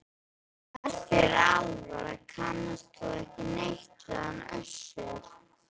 Er þér alvara, kannast þú ekki neitt við hann Össur?